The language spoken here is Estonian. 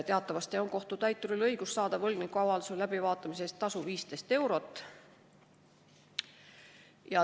Teatavasti on kohtutäituril õigus küsida võlgniku avalduse läbivaatamise eest tasu 15 eurot.